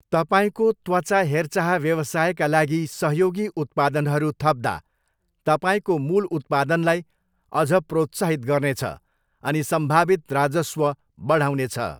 तपाईँको त्वचा हेरचाह व्यवसायका लागि सहयोगी उत्पादनहरू थप्दा तपाईँको मूल उत्पादनलाई अझ प्रोत्साहित गर्नेछ अनि सम्भावित राजस्व बढाउनेछ।